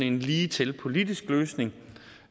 en ligetil politisk løsning